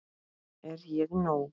Er ég nóg!